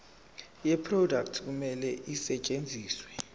yeproduct kumele isetshenziswe